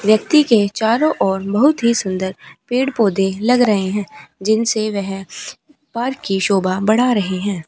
व्यक्ति के चारों ओर बहुत ही सुंदर पेड़ पौधे लग रहे हैं जिनसे वह पार्क की शोभा बढ़ा रहे हैं।